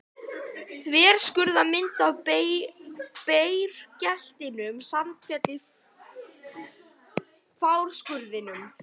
Þverskurðarmynd af bergeitlinum Sandfelli í Fáskrúðsfirði.